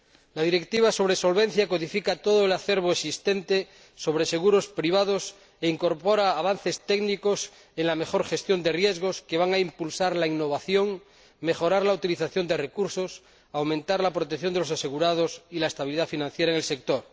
La Directiva sobre solvencia codifica todo el acervo existente sobre seguros privados e incorpora avances técnicos en la mejor gestión de riesgos que van a impulsar la innovación, mejorar la utilización de recursos, aumentar la protección de los asegurados y la estabilidad financiera en el sector.